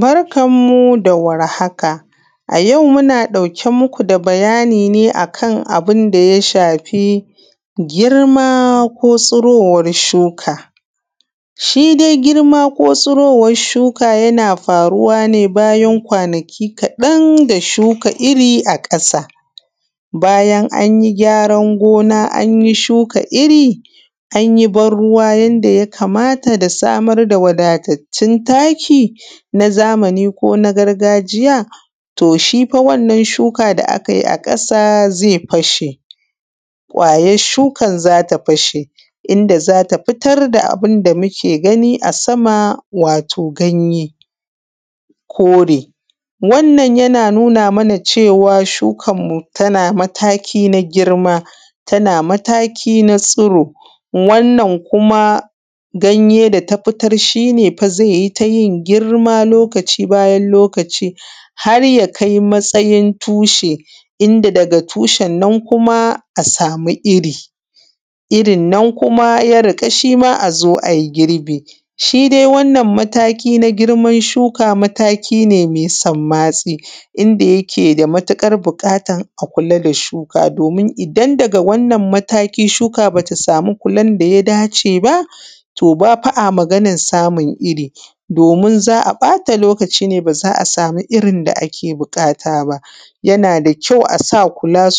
Barkan mu da warhaka. A yau muna ɗauke muku da bayani akan abinda ya shafi girma ko tsirowar shuka. Shidai girma ko tsirowar shuka yana faruwa ne bayan kwanaki kaɗan da shuka irri a ƙasa. Bayan anyi gyaran gona an shuka irri anyi ban ruwa yanda ya kamata da samar da taki na zamani kona gargajiya to shifa wannan shuka da aka biine a ƙasa zai fashe, kwayar shukan zata fashe inda zata fitar da abunda muke gani a sama wato ganye kore. Wannan yana nuna mana cewan shukan mu tana mataki na girma tana mataki na tsiri wannan ganye data fitar shine fa zaiyi tayin girma lokaci bayan lokaci haraya kai matsayin tushe inda daga tushennan kuma a samu irri. Irrinan kuma ya riƙa azo ai girbi, shida wannan mataki na shuka mataki ne mai sammatsi inda yake da matuƙar buƙatan a kula da shuka domin idan daga wannan mataki shuka bata samu kulan daya dace ba to bafa’a maganan samun irri, za’a ɓata lokaci ne baza’a samu irrin da ake buƙata ba yana da kyau asa kula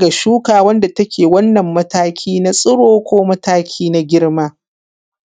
ga shuka wanda take mataki na tsiro ko mataki na girma.